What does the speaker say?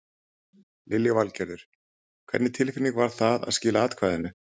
Lillý Valgerður: Hvernig tilfinning var það að skila atkvæðinu?